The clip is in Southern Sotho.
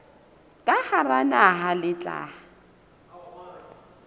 ka hara naha le tla